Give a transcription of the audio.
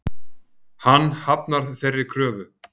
Hann hafnar þeirri kröfu.